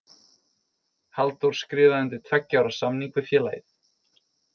Halldór skrifaði undir tveggja ára samning við félagið.